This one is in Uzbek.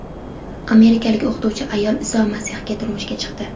Amerikalik o‘qituvchi ayol Iso Masihga turmushga chiqdi .